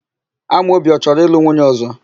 Amobi ọ chọrọ ịlụ nwunye ọ̀zọ́?